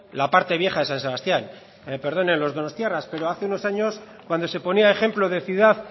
la parte vieja de san sebastián que me perdonen los donostiarras pero hace unos años cuando se ponía ejemplo de ciudad